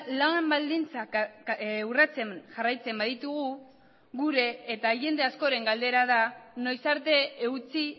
lan baldintzak urratzen jarraitzen baditugu gure eta jende askoren galdera da noiz arte eutsi